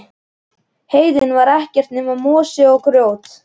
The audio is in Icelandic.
Heiðin var ekkert nema mosi og grjót.